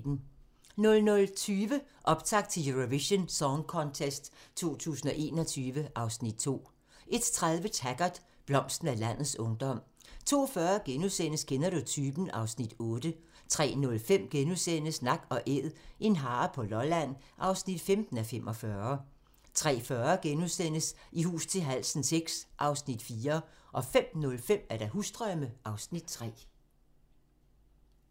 00:20: Optakt til Eurovision Song Contest 2021 (Afs. 2) 01:30: Taggart: Blomsten af landets ungdom 02:40: Kender du typen? (Afs. 8)* 03:05: Nak & Æd - en hare på Lolland (15:45)* 03:40: I hus til halsen VI (Afs. 4)* 05:05: Husdrømme (Afs. 3)